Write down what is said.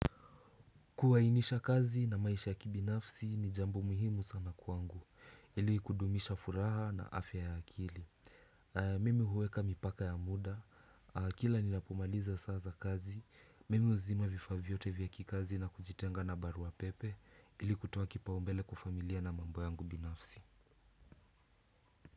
Kuainisha kazi na maisha ya kibinafsi ni jambo muhimu sana kwangu ili kudumisha furaha na afya ya akili mimi huweka mipaka ya muda kila ninapomaliza saa za kazi mimi uzima vifaa vyote vya kikazi na kujitenga na barua pepe ili kutoa kipao mbele kwa familia na mambo yangu binafsi.